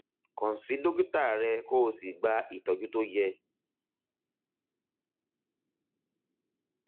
kàn sí dókítà rẹ kó o sì gba ìtọjú tó yẹ